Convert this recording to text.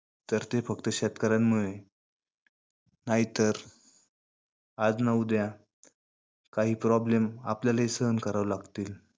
तर ते फक्त शेतकऱ्यांमुळे नाहीतर आज ना उद्या काही problem आपल्यालाही सहन करावे लागतील.